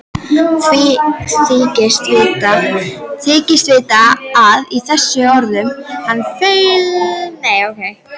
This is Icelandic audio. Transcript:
Þykist vita að í þessum orðum hans felist mikil sannindi.